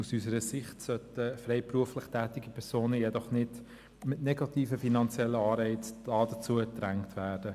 Aus unserer Sicht sollten freiberuflich tätige Personen jedoch nicht mit negativen finanziellen Anreizen dazu gedrängt werden.